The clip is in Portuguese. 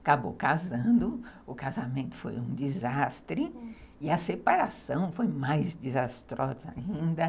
Acabou casando, o casamento foi um desastre, hum... e a separação foi mais desastrosa ainda.